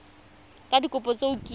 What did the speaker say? ka dikopo tse o kileng